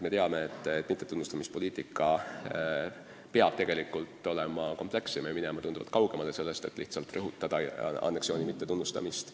Me teame, et mittetunnustamise poliitika peab olema komplekssem ja minema tunduvalt kaugemale sellest, et lihtsalt rõhutada anneksiooni hukkamõistmist.